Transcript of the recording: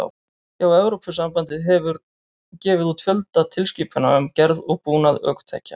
Já, Evrópusambandið hefur gefið út fjölda tilskipana um gerð og búnað ökutækja.